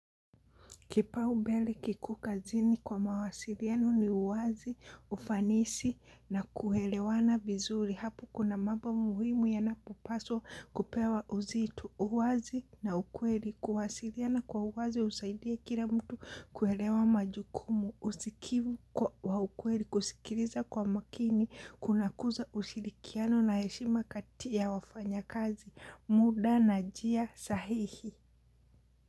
Kipau mbele kiko kazini kwa mawasiliano ni uwazi, ufanisi na kuelewana vizuri. Hapo kuna mambo muhimu yanapopaswa kupewa uzito. Uwazi na ukweli, kuwasiliana kwa uwazi husaidia kila mtu kuelewa majukumu. Usikivu kwa, wa ukweli kusikiliza kwa makini. Kunakuza ushirikiano na heshima kati ya wafanyakazi. Muda na njia sahihi.